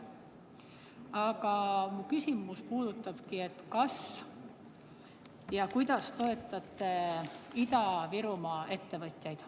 Aga mu küsimus puudutabki seda, kas ja kuidas te toetate Ida-Virumaa ettevõtjaid.